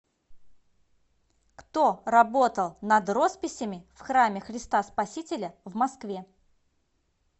кто работал над росписями в храме христа спасителя в москве